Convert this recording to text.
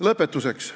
Lõpetuseks.